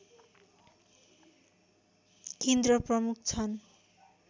केन्द्र प्रमुख छन्